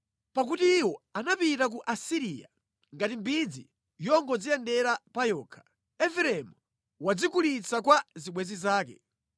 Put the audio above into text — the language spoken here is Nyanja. Pakuti iwo anapita ku Asiriya ngati mbidzi yongodziyendera pa yokha. Efereimu wadzigulitsa kwa zibwenzi zake.